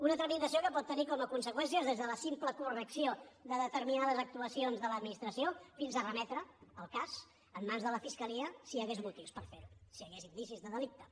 una tramitació que pot tenir com a conseqüències des de la simple correcció de determinades actuacions de l’administració fins a remetre el cas en mans de la fiscalia si hi hagués motius per fer ho si hi hagués indicis de delicte